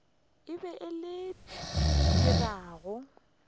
e be e dira gore